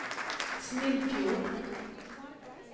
Snillfjord